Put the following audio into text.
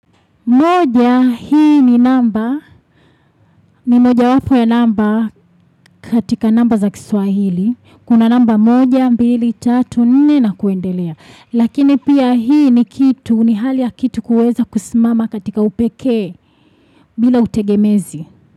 Moja hii ni namba, ni moja wapo ya namba katika namba za kiswahili. Kuna namba moja, mbili, tatu, nne na kuendelea. Lakini pia hii ni kitu, ni hali ya kitu kuweza kusimama katika upekee bila utegemezi.